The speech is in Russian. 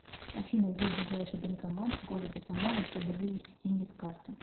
афина где ближайший банкомат в городе самара чтобы вывести деньги с карты